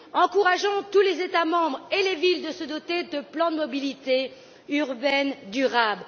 Encourageons tous les États membres et les villes à se doter de plans de mobilité urbaine durable.